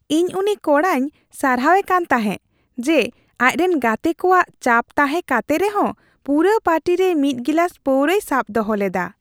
ᱤᱧ ᱩᱱᱤ ᱠᱚᱲᱟᱭᱧ ᱥᱟᱨᱦᱟᱣᱮ ᱠᱟᱱ ᱛᱟᱦᱮᱸ ᱡᱮ ᱟᱡᱨᱮᱱ ᱜᱟᱛᱮ ᱠᱚᱣᱟᱜ ᱪᱟᱯ ᱛᱟᱦᱮᱸ ᱠᱟᱛᱮ ᱨᱮᱦᱚᱸ ᱯᱩᱨᱟᱹ ᱯᱟᱨᱴᱤ ᱨᱮ ᱢᱤᱫ ᱜᱤᱞᱟᱹᱥ ᱯᱟᱹᱣᱨᱟᱹᱭ ᱥᱟᱵ ᱫᱚᱦᱚ ᱞᱮᱫᱟ ᱾